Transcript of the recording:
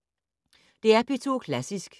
DR P2 Klassisk